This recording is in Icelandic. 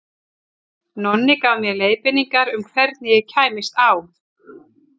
Nonni gaf mér leiðbeiningar um hvernig ég kæmist á